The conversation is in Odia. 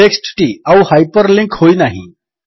ଟେକ୍ସଟ୍ ଟି ଆଉ ହାଇପରଲିଙ୍କ୍ ହୋଇ ନାହିଁ